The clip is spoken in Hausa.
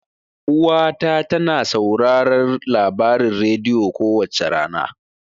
Uwa ta tana sauraron labarin rediyo kowace rana.